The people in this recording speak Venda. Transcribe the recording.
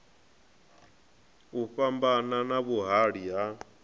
u fhambana na vhuhali ha